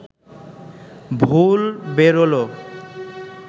ভুল বেরোল